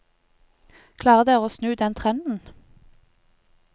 Klarer dere å snu den trenden?